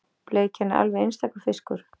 Bleikjan er alveg einstakur fiskur